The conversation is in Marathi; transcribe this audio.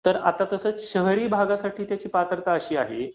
तर तसंच शहरी भागासाठी त्याची पात्रता अशी आहे